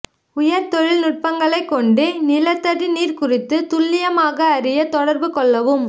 உயர் தொழில்நுட்பங்களை கொண்டு நிலத்தடி நீர் குறித்து துல்லியமாக அறிய தொடர்பு கொள்ளவும்